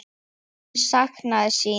Hann saknaði sín.